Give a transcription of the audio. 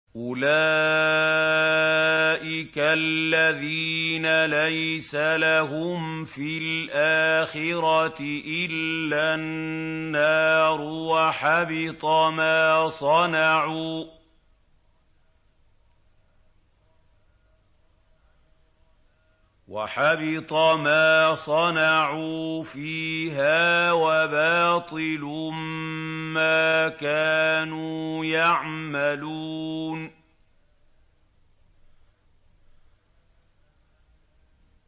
أُولَٰئِكَ الَّذِينَ لَيْسَ لَهُمْ فِي الْآخِرَةِ إِلَّا النَّارُ ۖ وَحَبِطَ مَا صَنَعُوا فِيهَا وَبَاطِلٌ مَّا كَانُوا يَعْمَلُونَ